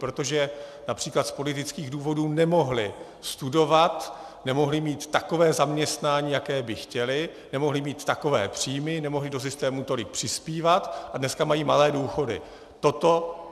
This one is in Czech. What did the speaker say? Protože například z politických důvodů nemohli studovat, nemohli mít takové zaměstnání, jaké by chtěli, nemohli mít takové příjmy, nemohli do systému tolik přispívat, a dneska mají malé důchody.